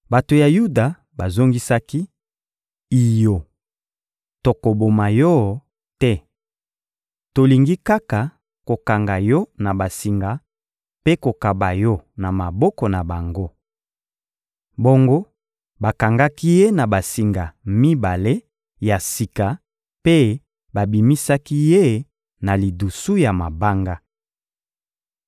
Bato ya Yuda bazongisaki: — Iyo! Tokoboma yo te. Tolingi kaka kokanga yo na basinga mpe kokaba yo na maboko na bango. Bongo bakangaki ye na basinga mibale ya sika mpe babimisaki ye na lidusu ya mabanga.